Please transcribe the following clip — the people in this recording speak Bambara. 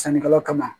Sannikɛlaw kama